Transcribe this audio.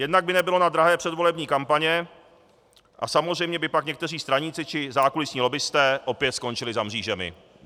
Jednak by nebylo na drahé předvolební kampaně a samozřejmě by pak někteří straníci či zákulisní lobbisté opět skončili za mřížemi.